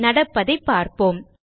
நடப்பதை பார்ப்போம்